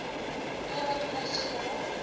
totdat kos gaar